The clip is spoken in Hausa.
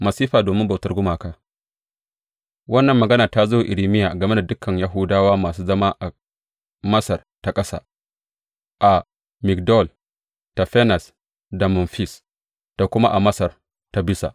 Masifa domin bautar gumaka Wannan maganata zo wa Irmiya game da dukan Yahudawa masu zama a Masar ta Ƙasa, a Migdol, Tafanes da Memfis, da kuma a Masar ta Bisa.